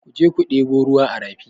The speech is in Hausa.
Ku je ku ɗebo ruwa a rafi!